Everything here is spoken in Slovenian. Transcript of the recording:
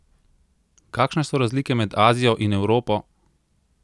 Kakšne so razlike med Azijo in Evropo?